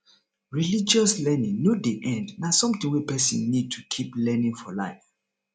religious learning no dey end na something wey person need to keep learning for life